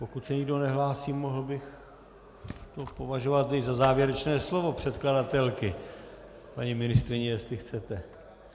Pokud se nikdo nehlásí, mohl bych to považovat za závěrečné slovo předkladatelky, paní ministryně, jestli chcete.